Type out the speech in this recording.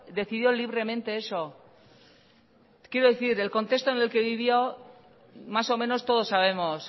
decidió libremente eso quiero decir el contexto en el que vivió más o menos todos sabemos